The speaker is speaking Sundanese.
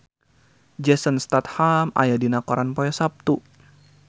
Jason Statham aya dina koran poe Saptu